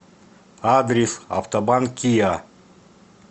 адрес автобан киа